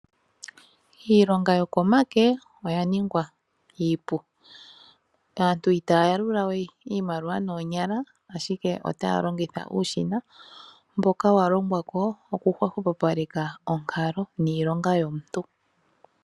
Iilonga yokomake oya ningwa iipu . Aantu itaya yalula we iimaliwa noonyala ashike otaya longitha uushina mboka wa longwa ko woku hwepopaleke onkalo niilonga yomuntu.